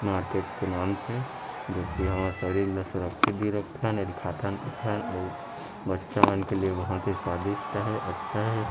Market के नाम से जो की हमर शरीर ल सुरक्षित भी रखथन एल खातहन पिथन अऊ बच्चा मन के लिए बहुत ही स्वादिष्ट हे अच्छा हे।